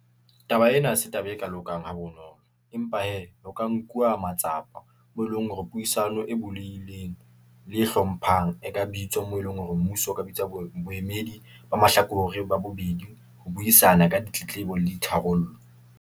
Taba ena ha se taba e ka lokang ha bonolo , empa hee ho ka nkuwa matsapa , moo eleng hore puisano e bulehileng, le e hlomphang, e ka bitswa moo eleng hore mmuso o ka bitswa boemedi ba mahlakore ba bobedi, ho buisana ka ditletlebo le di tharollo.